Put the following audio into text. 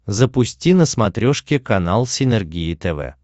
запусти на смотрешке канал синергия тв